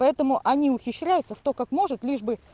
поэтому они ухищряются кто как может лишь бы